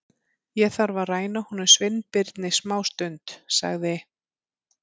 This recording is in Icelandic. Ég þarf að ræna honum Sveinbirni smástund- sagði